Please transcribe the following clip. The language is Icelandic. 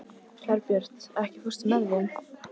Herbjört, ekki fórstu með þeim?